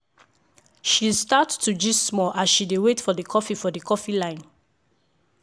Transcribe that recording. she start to gist small as she dey wait for the coffee for the coffee line.